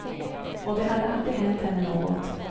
Och det hade aldrig hänt henne något.